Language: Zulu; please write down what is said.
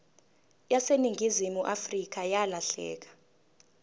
yaseningizimu afrika yalahleka